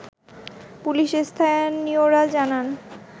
police ও স্থানীয়রা জানান